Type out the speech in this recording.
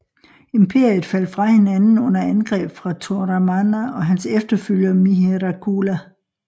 Imperiet faldt fra hinanden under angreb fra Toramana og hans efterfølger Mihirakula